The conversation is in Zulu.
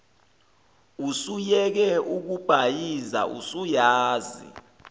usuyeke ukubhayiza usuyazi